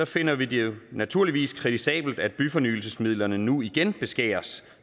finder vi det naturligvis kritisabelt at byfornyelsesmidlerne nu igen beskæres